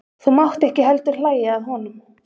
Þú mátt ekki heldur hlæja að honum.